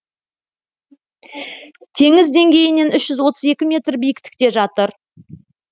теңіз деңгейінен үш жүз отыз екі метр биіктікте жатыр